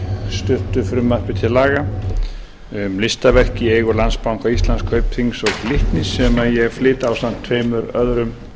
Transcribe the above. stuttu frumvarpi til laga um listaverk í eigu landsbanka íslands kaupþings og glitnis sem ég flyt ásamt tveimur öðrum